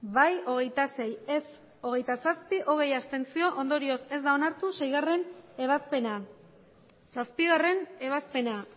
bai hogeita sei ez hogeita zazpi abstentzioak hogei ondorioz ez da onartu seigarren ebazpena zazpigarrena ebazpena